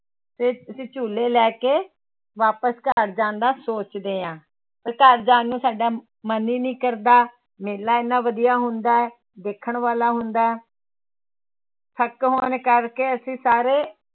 ਤੇ ਅਸੀਂ ਝੂਲੇ ਲੈ ਕੇ ਵਾਪਸ ਘਰ ਜਾਣ ਦਾ ਸੋਚਦੇ ਹਾਂ ਤੇ ਘਰ ਜਾਣ ਨੂੰ ਸਾਡਾ ਮਨ ਹੀ ਨੀ ਕਰਦਾ, ਮੇਲਾ ਇੰਨਾ ਵਧੀਆ ਹੁੰਦਾ ਹੈ ਵੇਖਣ ਵਾਲਾ ਹੁੰਦਾ ਹੈ ਥੱਕੇ ਹੋਣ ਕਰਕੇ ਅਸੀਂ ਸਾਰੇ